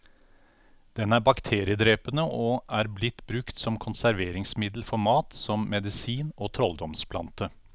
Den er bakteriedrepende og er blitt brukt som konserveringsmiddel for mat, som medisin og trolldomsplante.